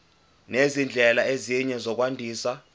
nezindlela ezinye zokwandisa